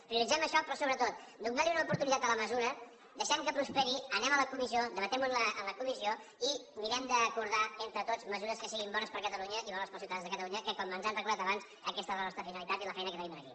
prioritzem això però sobretot donem li una oportunitat a la mesura deixem que prosperi anem a la comissió debatem ho en la comissió i mirem d’acordar entre tots mesures que siguin bones per a catalunya i bones per als ciutadans de catalunya que com ens han recordat abans aquesta és la nostra finalitat i la feina que tenim aquí